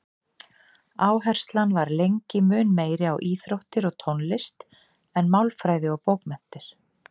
Áherslan var lengi mun meiri á íþróttir og tónlist en málfræði og bókmenntir.